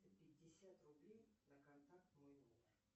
пятьдесят рублей на контакт мой номер